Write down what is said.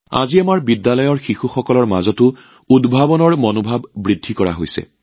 আজি আমাৰ স্কুলীয়া ছাত্ৰছাত্ৰীৰ মাজতো উদ্ভাৱনৰ মনোভাৱ প্ৰচাৰ কৰা হৈছে